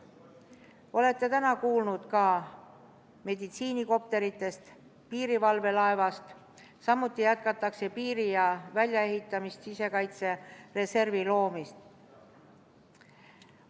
Olete täna kuulnud ka meditsiinikopteritest, piirivalvelaevast, samuti jätkatakse piiri väljaehitamist ja sisekaitsereservi loomist.